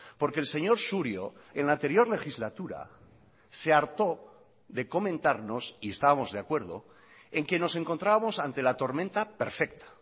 porque el señor surio en la anterior legislatura se hartó de comentarnos y estábamos de acuerdo en que nos encontrábamos ante la tormenta perfecta